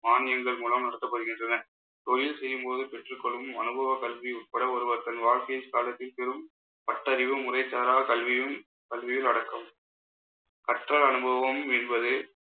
மானியங்கள் மூலம், நடத்தப்படுகின்றன. தொழில் செய்யும்போது பெற்றுக் கொள்ளும் அனுபவக் கல்வி உட்பட ஒருவர் தன் வாழ்க்கை காலத்தில் பெரும் பட்டறிவு முறைசாரா கல்வியும் கல்வியில் அடக்கம் கற்றல் அனுபவம் என்பது